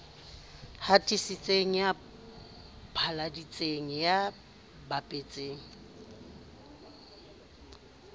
hatisitseng ya phatlaladitseng ya bapetseng